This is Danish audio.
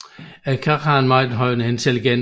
Krager har en meget høj intelligens